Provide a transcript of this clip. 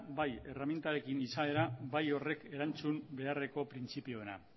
bai erreminten izaera bai horrek erantzun beharreko printzipioena